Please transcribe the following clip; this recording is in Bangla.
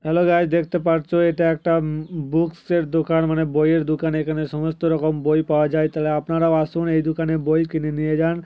হ্যালো গাঈজ দেখতে পারছো এটা একটা ঊম বুকস এর দোকান মানে বই এর দোকান এখানে সমস্ত রকম বই পাওয়া যায় তাহলে আপনারাও আসুন এই দোকানে বই কিনে নিয়ে যান।